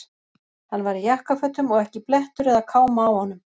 Hann var í jakkafötum og ekki blettur eða káma á honum.